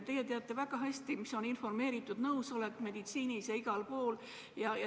Te teate väga hästi, mis on informeeritud nõusolek, nii meditsiinis kui ka mujal.